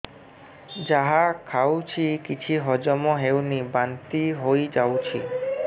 ଯାହା ଖାଉଛି କିଛି ହଜମ ହେଉନି ବାନ୍ତି ହୋଇଯାଉଛି